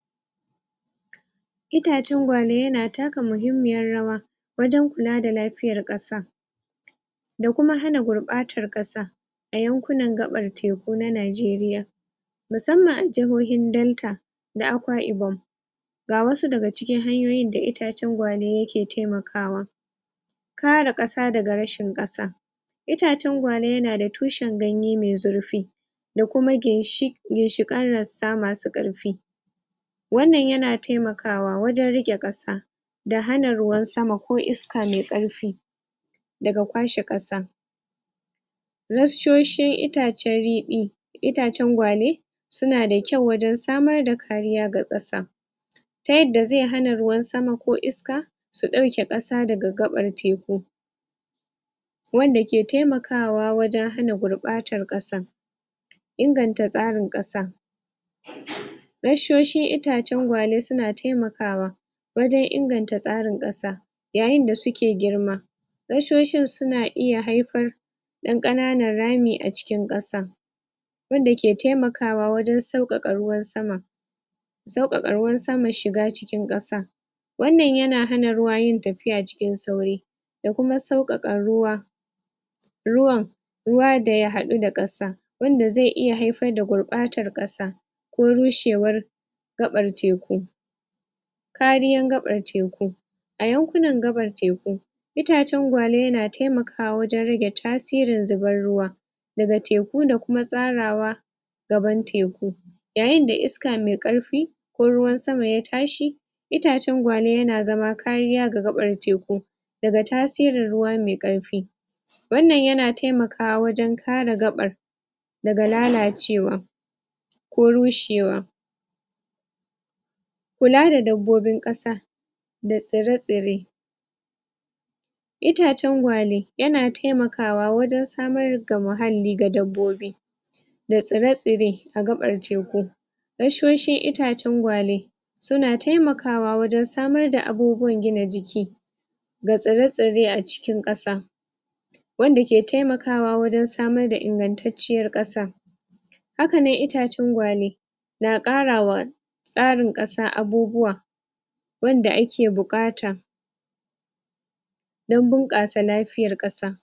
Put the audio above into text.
Itacen gwale yana taka muhimmiyar rawa Wajen kula da lafiyar kasa Da kuma hana gurbatar da kasa A yankunan gabar teku na najeriya Musammman a jahohin delta Da akwa'ibom Ga wasu daga cikin hanyoyin da itacen gwale yake taimaka wa Kare kasa daga rashin kasa Itacen gwale yana da tushin ganye mai zurfi Da kuma ginshikai'n rassa masu karfi Wannnan yana taimaka wa wajen rike kasa Da hana ruwan sama ko iska mai karfi Daga kwashe kasa Wasu reshoshin itacen ridi Itacen gwale Suna da kwau wajen samar da kariya ga kasa Ta yadda zai hana ruwan sama ko iska Su dauke kasa daga gabar teku Wanda ke taimaka wa wajen hana gurbatar kasa Inganta tsarin kasa Wasu reshoshin itacen gwale na taimaka wa Wajen inganta tsarin kasa Yayin da suke girma Reshoshin suna iya haifar Da kananan rami a cikin kasa Wanda ke taimaka wa wajen saukaka ruwan sama Saukaka ruwan sama shiga cikin kasa Wannan yana hana ruwa yin tafiya cikin sauri Da kuma saukaka ruwa Ruwan Ruwa daya hadu da kasa Wanda zai iya haifar da gurbadar kasa Ko rushewar Gabar teku Kariyar gabar teku A yakunan gabar teku, Itacen gwale na taimaka wa wajen rage tasirin subar ruwa Daga teku da kuma tsarawa Gaban teku Yayin da iska mai karfi Na ruwan sama ya tashi Itacen gwale yana sama kariya ga gabar teku Daga tasirin ruwa mai karfi Wannan yana taimakawa wajen kare gabar Daga lalacewa Ko rushewa Kula da dabbobin kasa Da tsire-tsire Itacen gwale Yana taimaka wa wajen samar ga muhalli ga dabbobi Da tsire-tsire A gabar teku Rassan itacen gwale Suna taimaka wa wajen samar da abubuwan gina jiki Ga tsire-tsire a cikin kasa Wanda ke taimaka wa wajen samar da ingantacciyar kasa Haka ne itacen gwale Na karawa, Tsarin kasa abubuwa Wanda ake bukata Don bunkasa lafiyar kasa